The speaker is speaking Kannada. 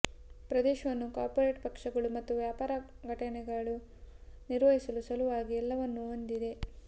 ಪ್ರದೇಶವನ್ನು ಕಾರ್ಪೊರೇಟ್ ಪಕ್ಷಗಳು ಮತ್ತು ವ್ಯಾಪಾರ ಘಟನೆಗಳು ನಿರ್ವಹಿಸಲು ಸಲುವಾಗಿ ಎಲ್ಲವನ್ನೂ ಹೊಂದಿದೆ